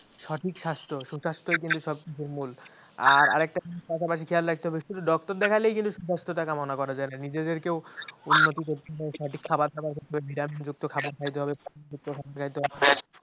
সঠিক স্বাস্থ্য, সুস্বাস্থ্যের কিন্তু সব কিছুর মূল। আর একটা কথা পাশাপাশি খেয়াল রাখতে হবে শুধু doctor দেখালেই কিন্তু সুস্বাস্থ্যতা কামনা করা যায় না নিজেদেরকেও উন্নতি করতে হয় সঠিক খাবার খেতে vitamin যুক্ত খাবার খাইতে হবে পানি খা্ইতে হয়